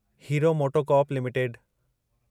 hero MotoCorp limited